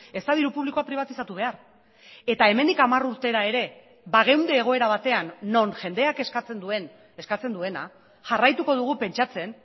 ez da diru publikoa pribatizatu behar eta hemendik hamar urtera ere bageunde egoera batean non jendeak eskatzen duen eskatzen duena jarraituko dugu pentsatzen